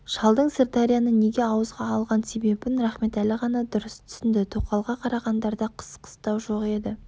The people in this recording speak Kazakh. шалдың сырдарияны неге ауызға алған себебін рахметәлі ғана дұрыс түсінді тоқалға қарағандарда қыс қыстау жоқ еді